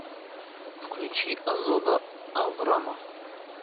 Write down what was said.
включи озода аврама